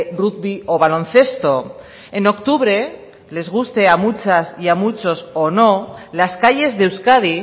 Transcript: rugby o baloncesto en octubre les guste a muchas y a muchos o no las calles de euskadi